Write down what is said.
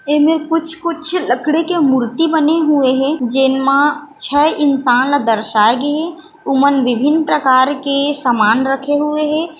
एमेर कुछ-कुछ लकड़ी के मूर्ति बने हुए हे जेन म छः इंसान ल दर्शाये गे हे ओमन विभिन्न प्रकार के समान रखे हुए हे।